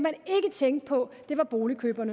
sikker på